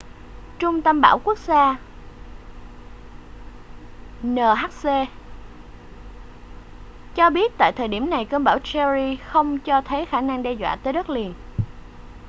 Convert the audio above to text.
trung tâm bão quốc gia nhc cho biết tại thời điểm này cơn bão jerry không cho thấy khả năng đe dọa tới đất liền